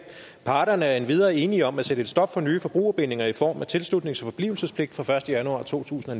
parterne er endvidere enige om at sætte et stop for nye forbrugerbindinger i form af tilslutnings og forblivelsespligt fra første januar totusinde